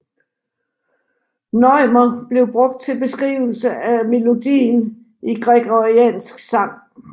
Neumer blev brugt til beskrivelse af melodien i gregoriansk sang